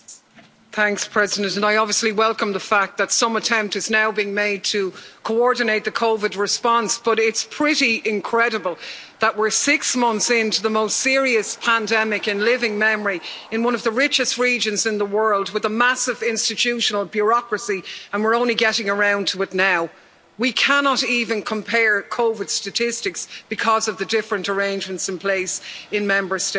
Madam President, I obviously welcome the fact that some attempt is now being made to coordinate the COVID response, but it's pretty incredible that we're six months into the most serious pandemic in living memory, in one of the richest regions in the world, with a massive institutional bureaucracy and we're only getting around to it now. We cannot even compare COVID statistics because of the different arrangements in place in Member States.